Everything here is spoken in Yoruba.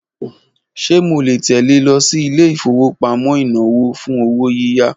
Ṣe mo le tẹle lọ sí ilé ìfowópamọ́ inawo fun owo yiya?